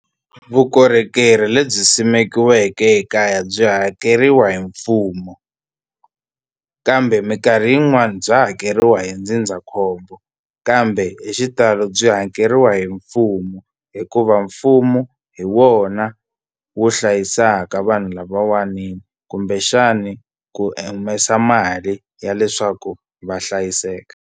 Vukorhokeri lebyi simekiweke ekaya byi hakeriwa hi mfumo kambe mikarhi yin'wani bya hakeriwa hi ndzindzakhombo kambe hi xitalo byi hakeriwa hi mfumo hikuva mfumo hi wona wu hlayisaka vanhu lavawani ta kumbexani ku humesa mali ya leswaku va hlayiseka.